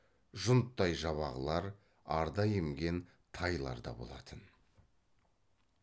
жұнттай жабағылар арда емген тайлар да болатын